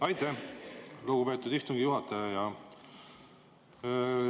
Aitäh, lugupeetud istungi juhataja!